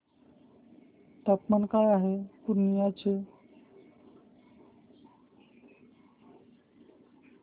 तापमान काय आहे पूर्णिया चे